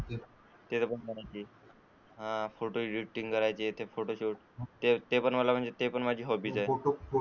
ते पण , photo edit करायचे, फोटो शूट करायचे ते पण मला म्हंजे ते पण माझी हॉबी च आहेत.